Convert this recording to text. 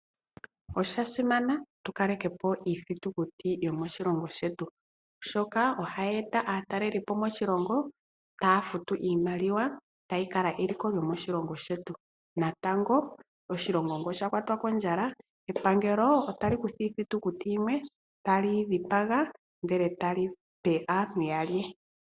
Osha simana tu kaleke po iithitukuti yo moshilongo shetu oshoka ohayi eta aatalelipo moshilongo, taya futu iimaliwa tayi kala eliko lyo moshilongo shetu. Natango oshilongo nge osha kwatwa kondjala epangelo otali kutha iithitukuti yimwe tali yi dhipaga ndele tali pe aantu yalye.